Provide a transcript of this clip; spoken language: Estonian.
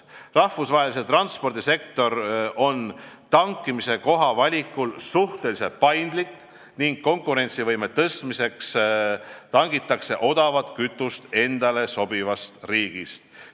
Rahvusvaheline transpordisektor on tankimise koha valikul suhteliselt paindlik ning konkurentsivõime tõstmiseks tangitakse odavat kütust endale sobivast riigist.